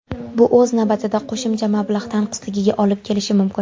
Bu o‘z navbatida qo‘shimcha mablag‘ tanqisligiga olib kelishi mumkin.